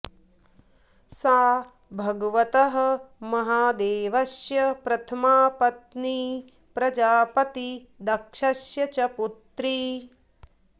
सा भगवतः महादेवस्य प्रथमा पत्नी प्रजापति दक्षस्य च पुत्री